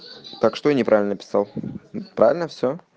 так что неправильно писал правильно все